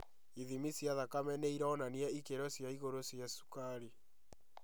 Ithimi cia thakame nĩironania ikĩro cia igũrũ cia cukari